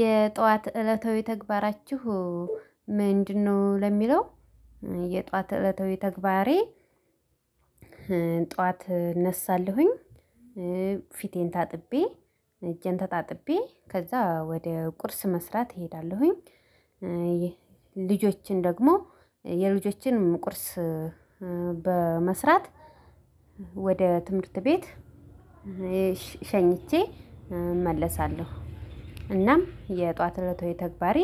የጧት እለታዊ ተግባራችሁ ምንድነው ለሚለው የጧት እለታዊ ተግባሬ ጧት እነሳለሁኝ፤ ፊቴን ታጥቤ እጄን ተታጥቤ ከዛ ወደ ቁርስ መስራት እሄዳለሁኝ ልጆችን ደግሞ የልጆችንም ቁርስ በመስራት ወደ ትምህርት ቤት ሸኝቼ እመለሳለሁ። እናም የጧት እለታዊ ተግባሬ